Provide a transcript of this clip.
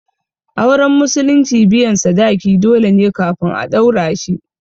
Auren musulunci biyan sadaki dole ne kafin a ɗaura shi